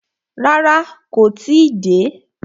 Rárá, kó tí ì dé.